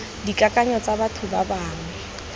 dikakanyong tsa batho ba bangwe